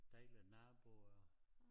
Dejlige naboer